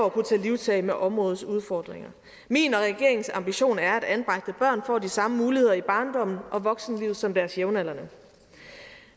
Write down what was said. at kunne tage livtag med områdets udfordringer min og regeringens ambition er at anbragte børn får de samme muligheder i barndommen og voksenlivet som deres jævnaldrende